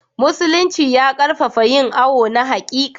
Musulinci ya ƙarfafa yin awo na haƙiƙa.